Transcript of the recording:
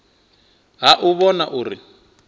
ha u u vhona uri